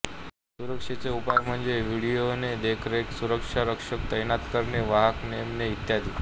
सुरक्षेचे उपाय म्हणजे व्हिडियोने देखरेखसुरक्षा रक्षक तैनात करणे वाहक नेमणे इत्यादी